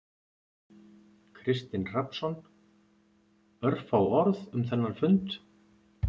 Kristinn Hrafnsson: Örfá orð um þennan fund?